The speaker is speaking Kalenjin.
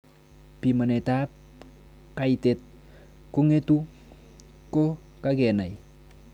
Pimanetab kaitet kong'etu ko kakenai